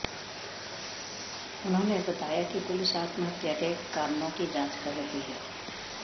उन्होंने बताया कि पुलिस आत्महत्या के कारणों की जांच कर रही है